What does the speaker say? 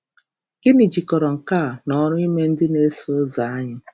Gịnị jikọrọ nke a na ọrụ ime ndị na-eso ụzọ anyị?